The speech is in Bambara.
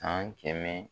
San kɛmɛ